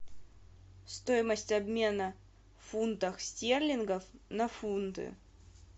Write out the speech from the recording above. стоимость обмена фунтах стерлингов на фунты